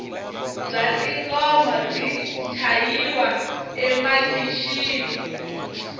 bya tingoma byi chayiwa emakixini